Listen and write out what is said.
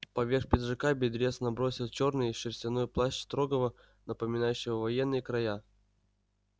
поверх пиджака бедрец набросил чёрный шерстяной плащ строгого напоминающего военный кроя